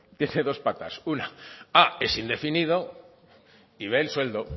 tiene dos patas una a es indefinido y b el sueldo